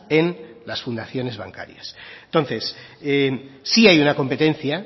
en las fundaciones bancarias entonces sí hay una competencia